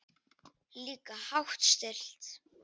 Líka hátt stillt.